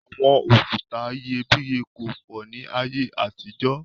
Àwọn òkúta iyebíye kò pọ̀ ni ayé àtijọ́